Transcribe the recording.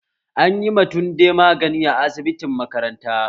Anyi ma tunde magani a asibitin makaranta